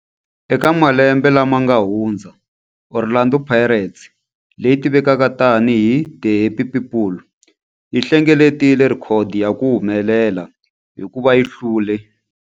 Eka malembe lawa yanga hundza, Orlando Pirates, leyi tivekaka tani hi 'The Happy People', yi hlengeletile rhekhodo ya ku humelela hikuva yi hlule